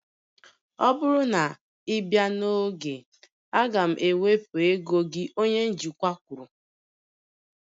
Ọ bụrụ na ị bịa n'oge, a ga m ewepụ ego gị onye njikwa kwuru